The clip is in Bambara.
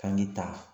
K'an k'i ta